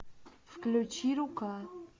включи рука